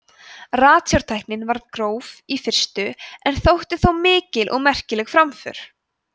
ratsjártæknin var gróf í fyrstu en þótti þó mikil og merkileg framför